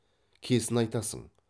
кесін айтасың